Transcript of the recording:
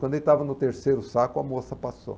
Quando ele estava no terceiro saco, a moça passou.